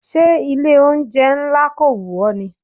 Ṣé ilé oúnjẹ ńlá kò wù ọ ni?